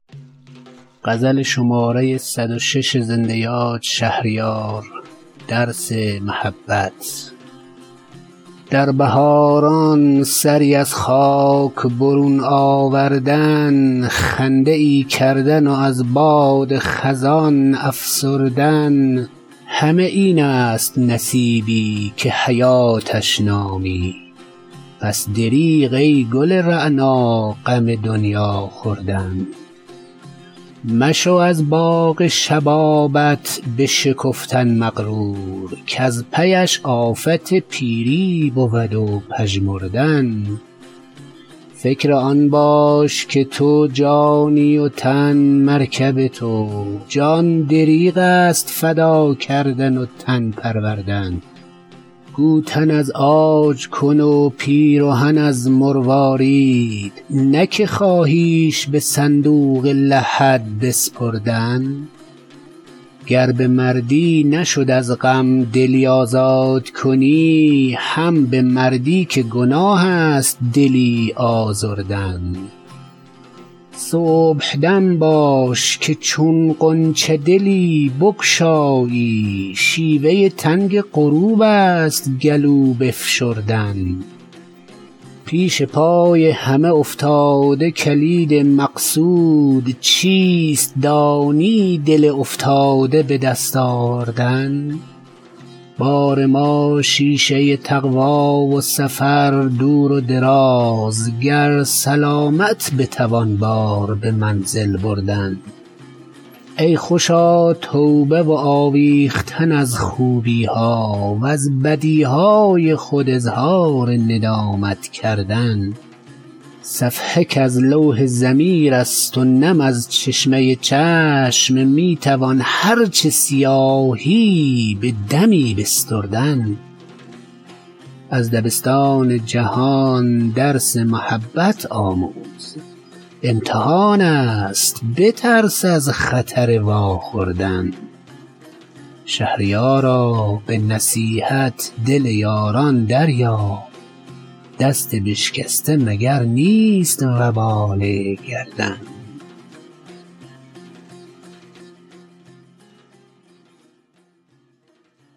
در بهاران سری از خاک برون آوردن خنده ای کردن و از باد خزان افسردن همه این است نصیبی که حیاتش نامی پس دریغ ای گل رعنا غم دنیا خوردن مشو از باغ شبابت بشکفتن مغرور کز پیش آفت پیری بود و پژمردن فکر آن باش که تو جانی وتن مرکب تو جان دریغست فدا کردن و تن پروردن گوتن از عاج کن و پیرهن از مروارید نه که خواهیش به صندوق لحد بسپردن مردن اجبار خدایی ست ولی مردان را اختیار از هوسک های جهانی مردن گر به مردی نشد از غم دلی آزاد کنی هم به مردی که گناه است دلی آزردن صبحدم باش که چون غنچه دلی بگشایی شیوه تنگ غروبست گلو بفشردن پیش پای همه افتاده کلید مقصود چیست دانی دل افتاده به دست آوردن بار ما شیشه تقوا و سفر دور و دراز گر سلامت بتوان بار به منزل بردن مکتب دین نه کم از کالج آمریکایی ست یاد کن روح مسیحایی مستر ژردن ای خوشا توبه و آویختن از خوبی ها و ز بدیهای خود اظهار ندامت کردن صفحه کز لوح ضمیر است و نم از چشمه چشم می توان هر چه سیاهی به دمی بستردن از دبستان جهان درس محبت آموز امتحان است بترس از خطر واخوردن شهریارا به نصیحت دل یاران دریاب دست بشکسته مگر نیست وبال گردن